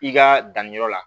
I ka danniyɔrɔ la